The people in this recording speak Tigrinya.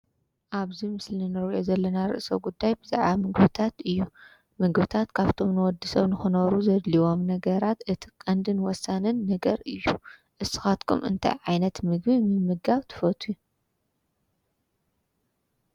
ኣብዚ ምስሊ ንሪኦ ዘለና ርእሰ ጉዳይ ብዛዕባ ምግብታት እዩ፡፡ ምግብታት ካብቶም ንወዲ ሰብ ንኽነብሩ ዘድልዩዎም ነገራት እቲ ቀንድን ወሳንን ነገር እዩ፡፡ ንስኻትኩ እንታይ ዓይነት ምግቢ ምምጋብ ትፈትዩ?